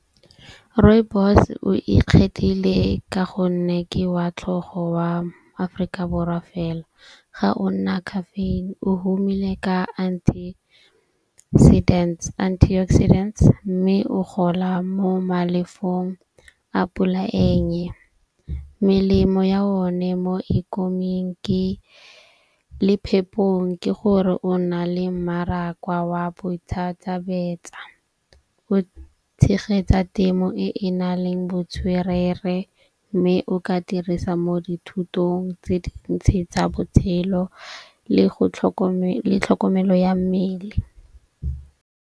Rooibos o ikgethile ka gonne ke wa tlhogo wa Aforika Borwa fela. Ga o nna caffeine o humile ka antioxidants. Mme o gola mo malefong a pola e nnye. Melemo ya o ne mo ikoming ke le phepong ke gore o na le mmaraka wa boithatabetsa . Go tshegetsa temo e e na leng botswerere. Mme o ka dirisa mo dithutong tse dintsi tsa botshelo le go le tlhokomelo ya mmele.